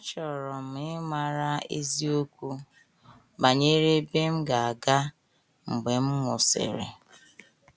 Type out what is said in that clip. Achọrọ m ịmara eziokwu banyere ebe m ga - aga mgbe m nwụsịrị.